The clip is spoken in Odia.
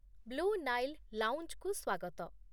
ବ୍ଳୁ ନାଇଲ୍ ଲାଉଞ୍ଜକୁ ସ୍ୱାଗତ।